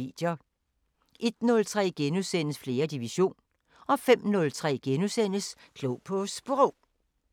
01:03: 4. division * 05:03: Klog på Sprog *